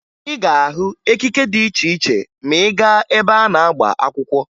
Ị ga-ahụ ekike dị iche iche ma ị gaa ebe a na-agba akwụkwọ